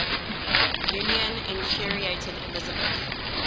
union infuriated elizabeth